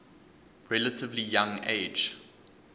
relatively young age